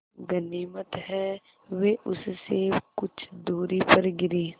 गनीमत है वे उससे कुछ दूरी पर गिरीं